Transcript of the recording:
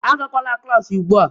Agakwala klaasị ugbu a.